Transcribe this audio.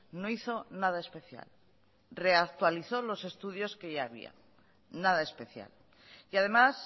no hizo nada especial reactualizó los estudios que ya había nada especial y además